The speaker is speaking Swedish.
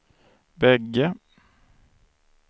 bägge